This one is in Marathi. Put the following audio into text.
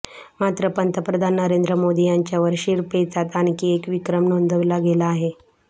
मात्र पंतप्रधान नरेंद्र मोदी यांच्यावर शिरपेचात आणखी एक विक्रम नोंदवला गेला आहे